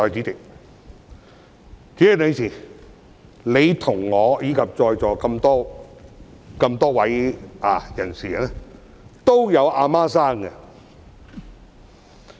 代理主席，你、我以及在座各位都有母親。